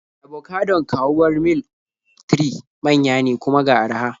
Abocadon kawuwar Mil 3 manya ne, kuma ga araha.